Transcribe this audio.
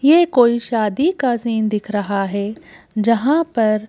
ये कोई शादी का सीन दिख रहा हैं जहां पर--